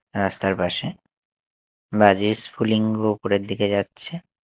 রাস্তার পাশে বাজির স্ফুলিঙ্গ উপরের দিকে যাচ্ছে।